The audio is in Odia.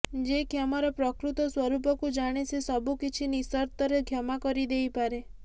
ଯେ କ୍ଷମାର ପ୍ରକୃତ ସ୍ୱରୂପକୁ ଜାଣେ ସେ ସବୁ କିଛି ନିଃସର୍ତ୍ତରେ କ୍ଷମା କରିଦେଇପାରେ